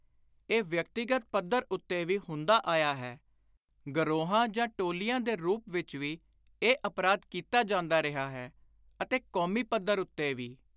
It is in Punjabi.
ਇਹ ਵਿਅਕਤੀਗਤ ਪੱਧਰ ਉੱਤੇ ਵੀ ਹੁੰਦਾ ਆਇਆ ਹੈ; ਗਰੋਹਾਂ ਜਾਂ ਟੋਲੀਆਂ ਦੇ ਰੂਪ ਵਿਚ ਵੀ ਇਹ ਅਪਰਾਧ ਕੀਤਾ ਜਾਂਦਾ ਰਿਹਾ ਹੈ; ਅਤੇ ਕੌਮੀ ਪੱਧਰ ਉੱਤੇ ਵੀ।